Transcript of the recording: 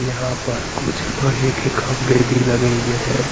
यहां पर कुछ लोहे के खंभे भी लगे हुए हैं।